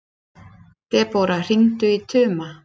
Debóra, hringdu í Tuma.